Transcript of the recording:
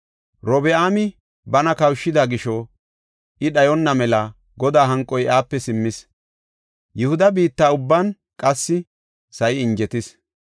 Robi7aami bana kawushida gisho I dhayonna mela Godaa hanqoy iyape simmis. Yihuda biitta ubban qassi sa7i injetis.